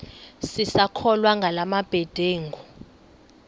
sisakholwa ngala mabedengu